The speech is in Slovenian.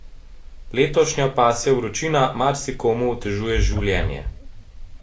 Letošnja pasja vročina marsikomu otežuje življenje.